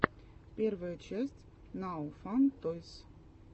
первая часть нао фан тойс